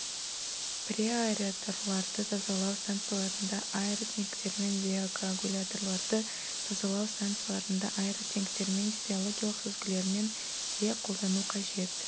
преаэраторларды тазалау станцияларында аэротенктермен биокоагуляторларды тазалау станцияларында аэротенктермен де биологиялық сүзгілермен де қолдану қажет